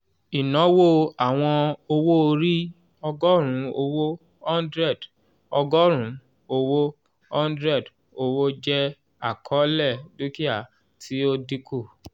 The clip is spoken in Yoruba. ìnáwó àwọn owo-ori ọgọ́rùn owo hundred ọgọrun owo hundred owo jẹ akọọlẹ dúkìá ti o dinku